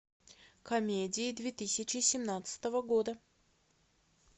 комедии две тысячи семнадцатого года